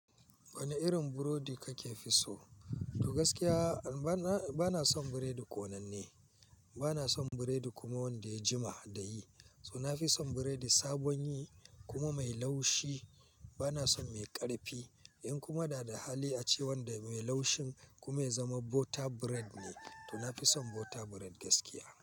Wane irin burodi kake fi so? To gaskiya bana, bana son biredi ƙonanne. Bana son biredi kuma wanda ya jima da yi. To na fi son biredi sabon yi kuma mai laushi. Bana son mai ƙarfi. In kuma dada hali ace wanda mai laushin kuma ya zama butter bread ne, to na fi son butter bread gaskiya.